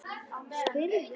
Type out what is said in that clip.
spyrð þú.